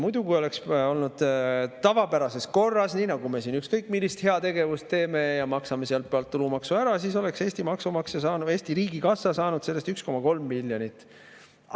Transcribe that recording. Muidu, kui oleks olnud tavapärases korras, nii nagu me siin ükskõik millist heategevust teeme ja maksame sealt pealt tulumaksu ära, siis oleks Eesti maksumaksja, Eesti riigikassa saanud sellest 1,3 miljonit.